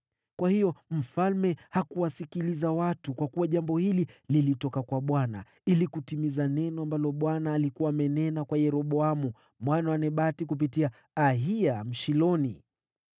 Kwa hiyo mfalme hakuwasikiliza watu, kwa kuwa jambo hili lilitoka kwa Mungu ili kutimiza neno ambalo Bwana alikuwa amenena kwa Yeroboamu mwana wa Nebati kupitia Ahiya Mshiloni.